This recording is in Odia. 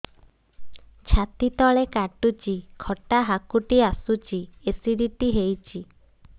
ଛାତି ତଳେ କାଟୁଚି ଖଟା ହାକୁଟି ଆସୁଚି ଏସିଡିଟି ହେଇଚି